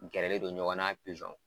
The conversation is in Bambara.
Gɛrɛlen don ɲɔgɔnna a n'a